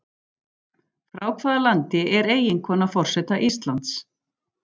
Frá hvaða landi er eiginkona forseta Íslands?